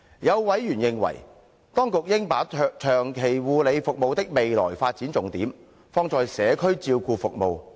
有委員認為，當局應把長期護理服務的未來發展重點，放在社區照顧服務。